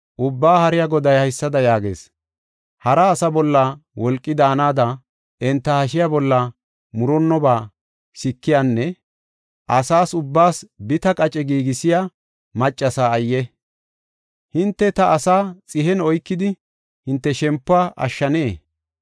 Ubbaa Haariya Goday haysada yaagees: ‘Hara asa bolla wolqi daanada, enta hashiya bolla murunnoba sikiyanne asas ubbaas biitta qace giigisiya maccasa ayye! Hinte ta asaa xihen oykidi hinte shempuwa ashshanee?